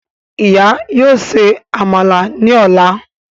Ìyá yóò ṣe Àmàlà ní ọla